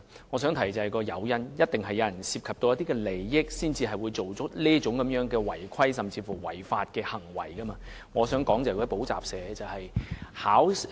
我想提出的是誘因，一定有人為了利益才會做出違規行為，甚至違法行為，我所指的是補習社。